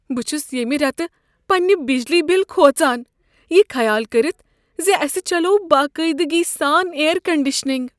بہٕ چھس ییٚمہ ریتہٕ پنٛنہ بجلی بل کھوژان، یہ خیال کٔرتھ ز أسۍ چلوو باقٲعدگی سان اییر کنڈیشنگ۔